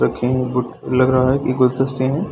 रखें हैं बट लग रहा हैं की गुलदस्ते हैं।